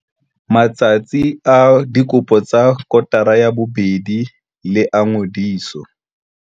Matsatsi a dikopo tsa kotara ya bobedi le a ngodiso.